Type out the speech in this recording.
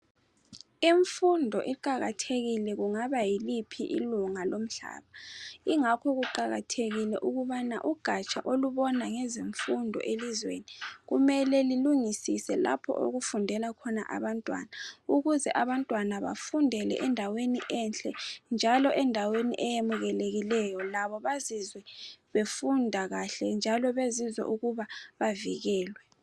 Imfundo iqakathekile kungaba yiliphi ilunga lomhlaba. Ingakho kuqakathekile ukubana ugatsha olubona ngezemfundo elizweni kumele lilungisise lapho okufundela khona abantwana ukuze abantwana bafundele endaweni enhle njalo endaweni eyemukelekileyo. Labo bazizwe befunda kahle njalo besizwa ukuba bavikelwe.